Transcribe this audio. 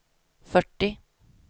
fyrtio